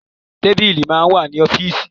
Tábílì máa ń wà ní ọ́fíìsì.